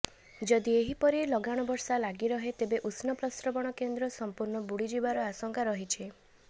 ଯଦି ଏହିପରି ଲଗାଣ ବର୍ଷା ଲାଗିରହେ ତେବେ ଉଷ୍ମପ୍ରସ୍ରବଣ କେନ୍ଦ୍ର ସଂପୂର୍ଣ୍ଣ ବୁଡିଯିବାର ଆଶଙ୍କା ରହିଛି